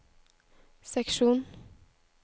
seksjon